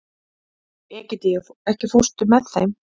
Egedía, ekki fórstu með þeim?